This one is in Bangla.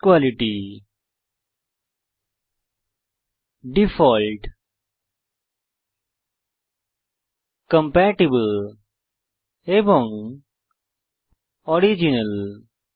বেস্ট কোয়ালিটি ডিফল্ট কম্পাটিবল এবং অরিজিনাল